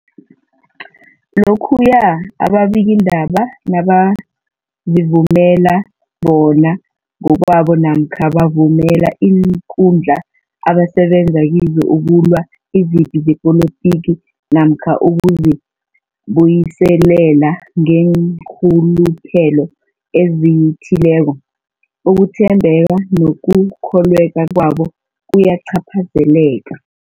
Lokhuya ababikiindaba nabazivumela bona ngokwabo namkha bavumele iinkundla abasebenza kizo ukulwa izipi zepolitiki namkha ukuzi buyiselela ngeenrhuluphelo ezithileko, ukuthembeka nokukholweka kwabo kuyacaphazeleka.